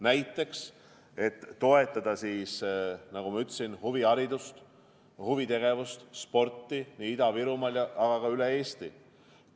Näiteks, et toetada, nagu ma ütlesin, huviharidust, huvitegevust ja sporti nii Ida-Virumaal kui ka üle Eesti.